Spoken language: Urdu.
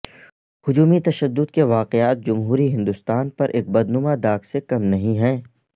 ہجومی تشدد کے واقعات جمہوری ہندوستان پر ایک بدنما داغ سے کم نہیں ہیں